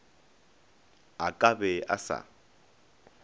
a ka be a sa